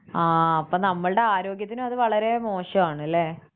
ആഹ് അപ്പം നമ്മളുടെ ആരോഗ്യത്തിന് അത് വളരെ മോശമാണല്ലേ?